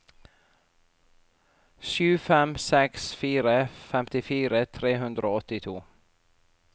sju fem seks fire femtifire tre hundre og åttito